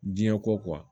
Diɲɛ ko